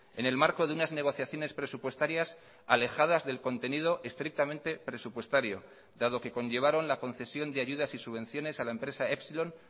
en el marco de unas negociaciones presupuestarias alejadas del contenido estrictamente presupuestario dado que conllevaron la concesión de ayudas y subvenciones a la empresa epsilon